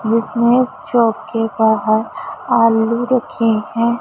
जिसमें चौक बाहर आलू रखे है।